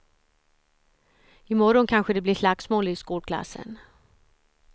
I morgon kanske det blir slagsmål i skolklassen.